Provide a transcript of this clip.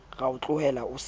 ra o tlohela o sa